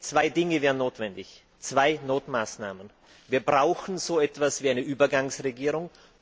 Zwei Dinge wären notwendig, zwei Notmaßnahmen Wir brauchen so etwas wie eine Übergangsregierung.